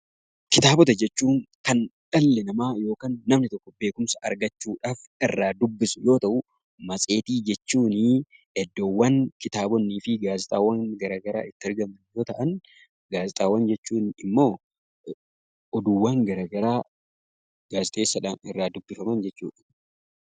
Kitaabota jechuun kan dhalli namaa yookaan namni tokko beekumsa argachuudhaaf irraa dubbisu yoo ta'u, matseetii jechuun iddoowwan kitaabonnii fi gaazexaawwan garagaraa itti argaman yoo ta'an ,gaazexaawwan oduuwwan garagaraa gaazixeessaadhaan irraa dubbifaman jechuu dha.